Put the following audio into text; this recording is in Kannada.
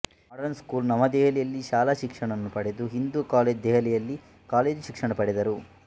ಮಾಡರ್ನ್ ಸ್ಕೂಲ್ ನವದೆಹಲಿಯಲ್ಲಿ ಶಾಲಾ ಶಿಕ್ಷಣ ಪಡೆದು ಹಿಂದೂ ಕಾಲೇಜು ದೆಹಲಿಯಲ್ಲಿ ಕಾಲೇಜು ಶಿಕ್ಷಣ ಪಡೆದರು